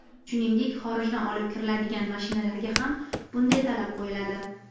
Shuningdek, xorijdan olib kiriladigan mashinalarga ham bunday talab qo‘yiladi.